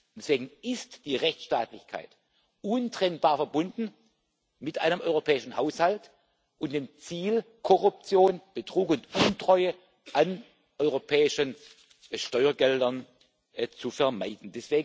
Deswegen ist die Rechtsstaatlichkeit untrennbar verbunden mit einem europäischen Haushalt und dem Ziel, Korruption, Betrug und Untreue an europäischen Steuergeldern zu vermeiden.